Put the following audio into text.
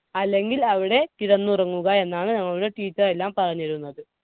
അല്ലെങ്കിൽ അവിടെ കിടന്നുറങ്ങുക എന്നാണ് ഞങ്ങളുടെ teacher എല്ലാം പറഞ്ഞിരുന്നത്.